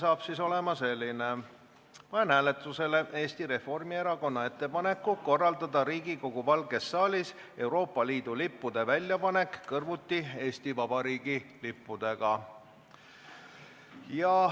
Ja see saab olema siis selline: "Panen hääletusele Eesti Reformierakonna ettepaneku korraldada Riigikogu Valges saalis Euroopa Liidu lippude väljapanek kõrvuti Eesti Vabariigi lippudega.